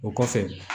O kɔfɛ